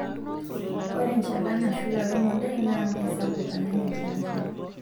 Ore enchalan nashula wemodai naa meisapuk alang' enchalan sapuk .